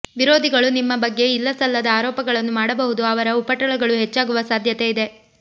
ವಿರೋಧಿಗಳು ನಿಮ್ಮ ಬಗ್ಗೆ ಇಲ್ಲಸಲ್ಲದ ಆರೋಪಗಳನ್ನು ಮಾಡಬಹುದು ಅವರ ಉಪಟಳಗಳು ಹೆಚ್ಚಾಗುವ ಸಾಧ್ಯತೆ ಇದೆ